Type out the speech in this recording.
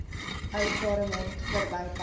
ou claremont verbypad